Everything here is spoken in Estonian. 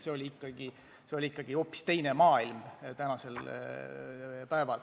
See oli ikkagi hoopis teine maailm!